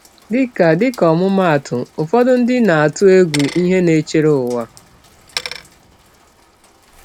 Dịka Dịka ọmụmaatụ, ụfọdụ ndị na-atụ egwu ihe na-echere ụwa.